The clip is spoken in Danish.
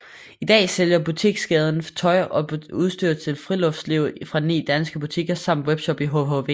I dag sælger butikskæden tøj og udstyr til friluftsliv fra ni danske butikker samt webshops i hhv